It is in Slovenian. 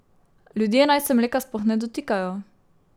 Ljudje naj se mleka sploh ne dotikajo.